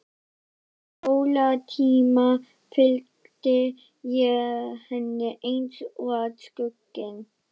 Utan skólatíma fylgdi ég henni eins og skugginn.